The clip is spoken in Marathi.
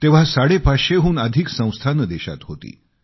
तेव्हा 550 हून अधिक संस्थाने देशात होती